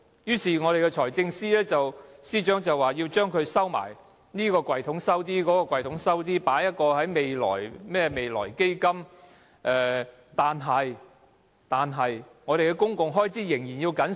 於是，財政司司長便要把錢藏起來，在這個抽屉藏一些，在那個抽屉又藏一些，還設一個未來基金，但我們的公共開支仍要緊縮。